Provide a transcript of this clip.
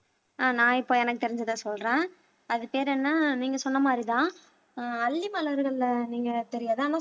ஆஹ் நான் இப்ப எனக்கு தெரிஞ்சதை சொல்றேன் அது பேர் என்ன நீங்க சொன்ன மாரிதான் ஆஹ் அல்லி மலர்கள்ல நீங்க தெரியாது ஆனா